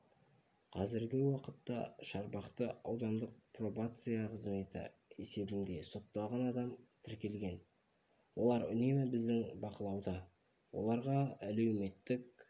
қазіргі уақытта шарбақты аудандық пробация қызметі есебінде сотталған адам тіркелген олар үнемі біздің бақылауда оларға әлеуметтік